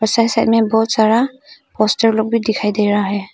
Side side में बहुत सारा पोस्टर लोग भी दिखाई दे रहा है।